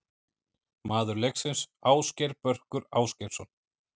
Maður leiksins: Ásgeir Börkur Ásgeirsson.